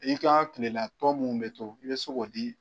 I ka kilela tɔ mun bɛ to i bɛ se k'o di